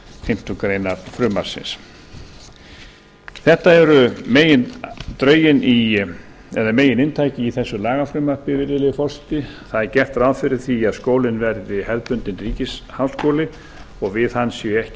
fimmtu grein frumvarpsins þetta er megininntakið í þessu lagafrumvarpi virðulegi forseti það er gert ráð fyrir því að skólinn verði hefðbundinn ríkisháskóli og við hann séu ekki